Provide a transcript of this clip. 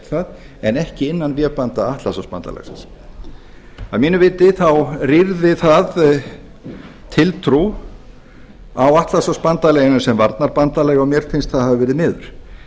það en ekki innan vébanda atlantshafsbandalagsins að mínu viti þá rýrði það tiltrú á atlantshafsbandalaginu sem varnarbandalagi og mér finnst það hafa verið miður